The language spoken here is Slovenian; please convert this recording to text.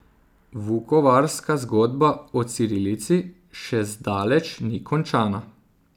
Vukovarska zgodba o cirilici še zdaleč ni končana.